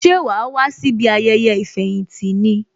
Ṣé wàá wá síbi ayẹyẹ ìfẹ̀yìntì ní?